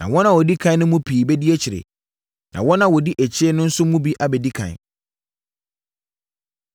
Na wɔn a wɔdi ɛkan no mu pii bɛdi akyire, na wɔn a wɔdi akyire no nso mu bi abɛdi ɛkan.”